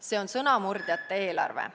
See on sõnamurdjate eelarve.